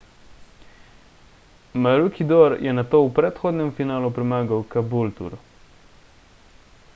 maroochydore je nato v predhodnem finalu premagal caboolture